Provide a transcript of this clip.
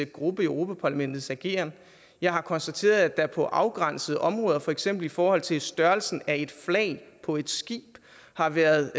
gruppe i europa parlamentets ageren jeg har konstateret at der på afgrænsede områder for eksempel i forhold til størrelsen af et flag på et skib har været